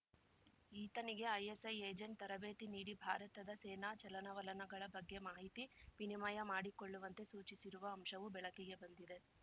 ಈತನಿಗೆ ISI agent ತರಬೇತಿ ನೀಡಿ ಭಾರತದ ಸೇನಾ ಚಲನವಲನಗಳ ಬಗ್ಗೆ ಮಾಹಿತಿ ವಿನಿಮಯ ಮಾಡಿಕೊಳ್ಳುವಂತೆ ಸೂಚಿಸಿರುವ ಅಂಶವು ಬೆಳಕಿಗೆ ಬಂದಿದೆ